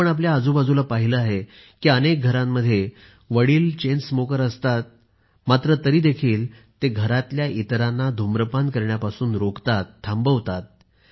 आपण आपल्या आजूबाजूला पाहिले आहे की अनेक घरांमध्ये वडील चेनस्मोकर असतात मात्र तरीही ते घरातील इतरांना धूम्रपान करण्यापासून रोखतात थांबवतात